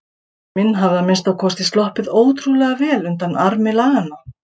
Pabbi minn hafði að minnsta kosti sloppið ótrúlega vel undan armi laganna.